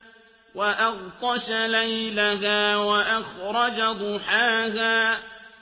وَأَغْطَشَ لَيْلَهَا وَأَخْرَجَ ضُحَاهَا